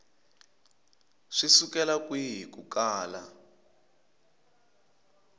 swi sukela kwihi ku kala